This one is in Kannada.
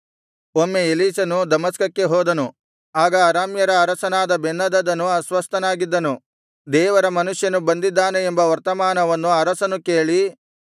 ಒಮ್ಮೆ ಎಲೀಷನು ದಮಸ್ಕಕ್ಕೆ ಹೋದನು ಆಗ ಅರಾಮ್ಯರ ಅರಸನಾದ ಬೆನ್ಹದದನು ಅಸ್ವಸ್ಥನಾಗಿದ್ದನು ದೇವರ ಮನುಷ್ಯನು ಬಂದಿದ್ದಾನೆ ಎಂಬ ವರ್ತಮಾನವನ್ನು ಅರಸನು ಕೇಳಿ